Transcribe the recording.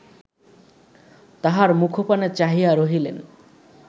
তাঁহার মুখপানে চাহিয়া রহিলেন